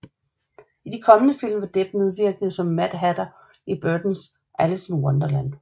I de kommende film vil Depp medvirke som Mad Hatter i Burtons Alice in Wonderland